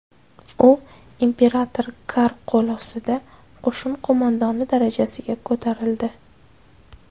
U imperator Kar qo‘l ostida qo‘shin qo‘mondoni darajasiga ko‘tarildi.